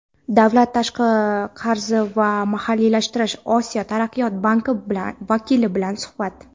davlat tashqi qarzi va mahalliylashtirish - Osiyo taraqqiyot banki vakili bilan suhbat.